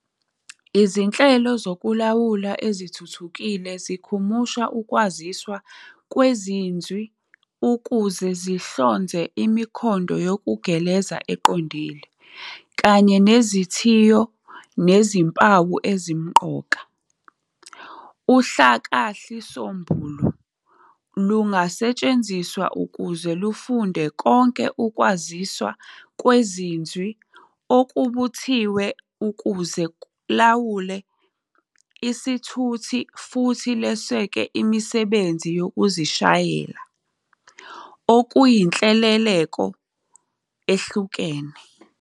Izinhlelo zokulawula ezithuthukile zikhumusha ukwaziswa kwezinzwi ukuze zihlonze imikhondo yokugegeleza eqondile, kanye nezithiyo nezimpawu ezimqoka. UHlakahlisombulu lungasetshenziswa ukuze lufunde konke ukwaziswa kwezinzwi okubuthiwe ukuze lulawule isithuthi futhi lweseke imisebenzi yokuzishayela-okuyinhleleleko ehlukene.